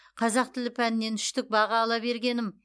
қазақ тілі пәнінен үштік баға ала бергенім